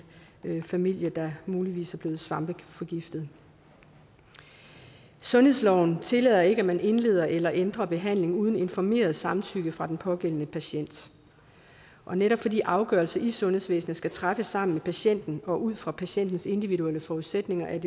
familie der muligvis er blevet svampeforgiftet sundhedsloven tillader ikke at man indleder eller ændrer behandling uden informeret samtykke fra den pågældende patient og netop fordi afgørelser i sundhedsvæsenet skal træffes sammen med patienten og ud fra patientens individuelle forudsætninger er